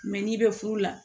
Mɛ n'i bɛ furu la